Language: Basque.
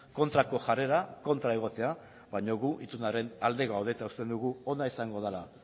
kontrako jarrera kontra egotea baina gu itunaren alde gaude eta uste dugu ona izango dela